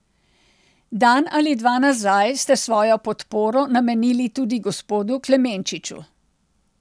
Dan ali dva nazaj ste svojo podporo namenili tudi gospodu Klemenčiču.